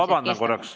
Te olete...